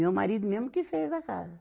Meu marido mesmo que fez a casa.